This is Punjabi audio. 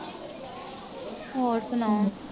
ਹੋਰ ਸੁਣਾਓ?